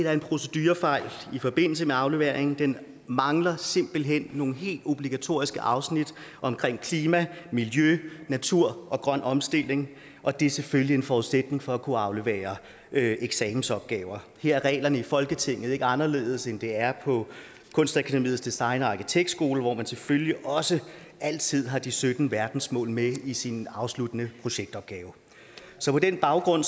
er en procedurefejl i forbindelse med afleveringen den mangler simpelt hen nogle helt obligatoriske afsnit om klima miljø natur og grøn omstilling og det er selvfølgelig en forudsætning for at kunne aflevere eksamensopgaver her er reglerne i folketinget ikke anderledes end de er på kunstakademiets designskole hvor man selvfølgelig også altid har de sytten verdensmål med i sin afsluttende projektopgave så på den baggrund